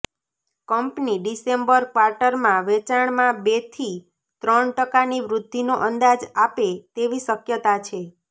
company December ક્વાર્ટરમાં વેચાણમાં બેથી ત્રણ ટકાની વૃધ્ધિનો અંદાજ આપે તેવી શક્યતા છે